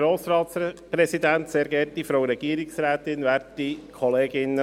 Kommissionspräsident der FiKo.